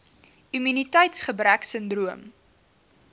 immuniteits gebrek sindroom